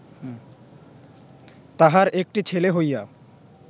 তাহার একটি ছেলে হইয়া